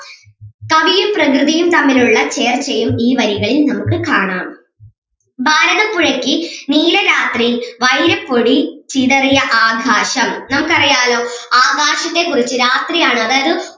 കവിയും പ്രകൃതിയും തമ്മിലുള്ള ചർച്ചയും ഈ വരികളിൽ നമുക്ക് കാണാം ഭാരതപ്പുഴക്ക് നീലരാത്രി വൈരപ്പൊടി ചിതറിയ ആകാശം നമുക്ക് അറിയാല്ലോ ആകാശത്തെ കുറിച്ച് രാത്രി ആണ് അതായത്